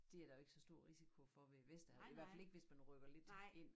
Det der jo ikke så stor risiko for ved Vesterhavet i hvert fald ikke hvis man rykke lidt ind